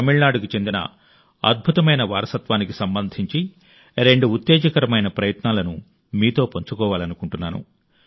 తమిళనాడుకు చెందిన అద్భుతమైన వారసత్వానికి సంబంధించి రెండు ఉత్తేజకరమైన ప్రయత్నాలను మీతో పంచుకోవాలనుకుంటున్నాను